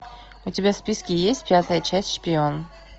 у тебя в списке есть пятая часть шпион